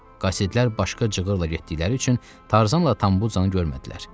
Qasidlər başqa cığırla getdikləri üçün Tarzanla Tambucanı görmədilər.